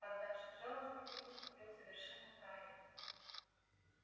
поддавшись жалости ты поступил совершенно правильно